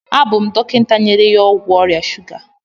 Abụ m dọkịta nyere ya ọgwụ ọrịa shuga.